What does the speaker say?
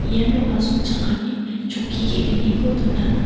iano asongchakani chokki ge·gniko dona.